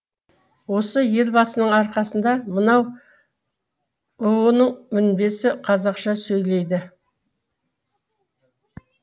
осы елбасының арқасында мынау бұұ ның мінбесі қазақша сөйлейді